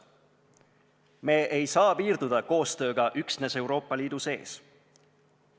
Me ei saa piirduda koostööga üksnes Euroopa Liidu sees.